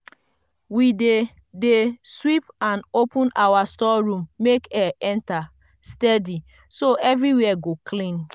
we dey dey sweep and open our store room make air enter steady so everywhere go clean.